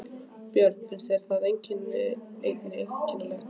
Björn: Þér finnst það einnig einkennilegt?